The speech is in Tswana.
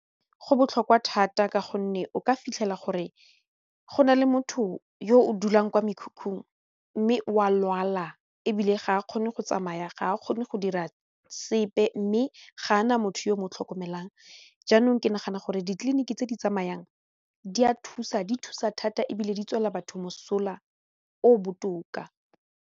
Go botlhokwa thata ka gonne o ka fitlhela gore go na le motho yo o dulang kwa mekhukhung mme o a lwala ebile ga a kgone go tsamaya ga a kgone go dira sepe mme ga a na motho yo mo tlhokomelang jaanong ke nagana gore ditleliniki tse di tsamayang di a thusa, di a thusa thata ebile di tswela batho mosola o botoka.